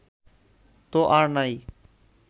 তো আর নাই